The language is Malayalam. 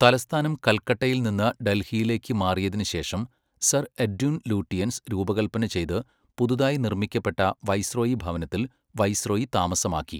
തലസ്ഥാനം കൽക്കട്ടയിൽ നിന്ന് ഡൽഹിയിലേക്ക് മാറിയതിനുശേഷം, സർ എഡ്വിൻ ലൂട്ടിയൻസ് രൂപകൽപ്പന ചെയ്ത് പുതുതായി നിർമ്മിക്കപ്പെട്ട വൈസ്രോയി ഭവനത്തിൽ വൈസ്രോയി താമസമാക്കി.